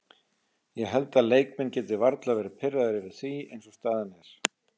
Ég held að leikmenn geti varla verði pirraðir yfir því eins og staðan er.